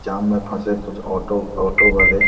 जाम में फसे कुछ ऑटो ऑटो वाले --